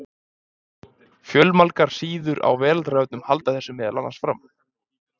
Fjölmargar síður á Veraldarvefnum halda þessu meðal annars fram.